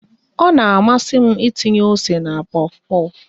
Ọ na amasị m ịtinye ose na pofu pofu